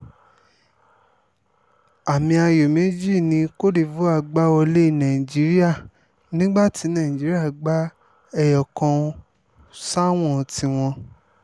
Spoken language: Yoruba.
àmì ayò méjì ni côte divore gbà wọlé nigeria nígbà tí nàìjíríà gba ẹyọkàn sáwọn tiwọn